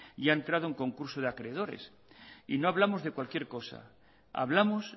y ha entrado en concurso de acreedores y no hablamos de cualquier cosa hablamos